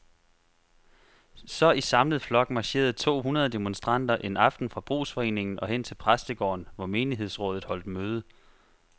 Så i samlet flok marcherede to hundrede demonstranter en aften fra brugsforeningen og hen til præstegården, hvor menighedsrådet holdt møde.